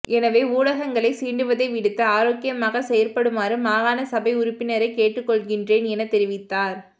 எனவே ஊடகங்களை சீண்டுவதை விடுத்து ஆரோக்கியமாக செயற்படுமாறு மாகாண சபை உறுப்பிரை கேட்டுக்கொள்கின்றேன் எனத் தெரிவித்தார்